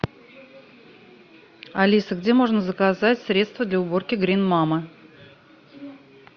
алиса где можно заказать средство для уборки грин мама